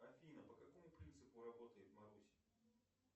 афина по какому принципу работает маруся